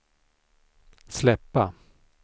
släppa